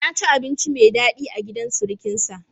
Ya ci abinci mai daɗi a gidan surukinsa.